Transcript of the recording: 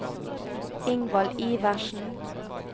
Ingvald Iversen